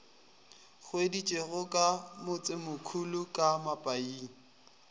hweditšwego ka motsemokhulu ka mapaing